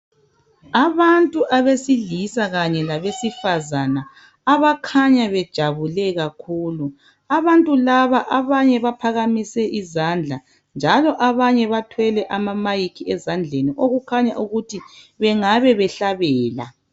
Abantu besilisa kanye labesifazane abakhanya bejabule kakhulu. Abantu laba abanye baphakamise izandla njalo abanye bathwele ama'mic' ezandleni okukhanya ukuthi bangabe behlabela.